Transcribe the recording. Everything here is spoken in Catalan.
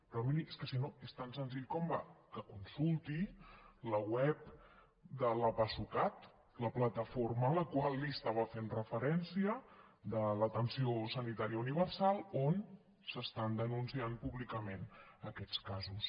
però miri és que si no és tan senzill com que consulti la web de la pasucat la plataforma a la qual li estava fent referència de l’atenció sanitària universal on s’estan denunciant públicament aquests casos